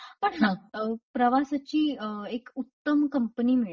पण हा प्रवासाची एक उत्तम कंपनी मिळते.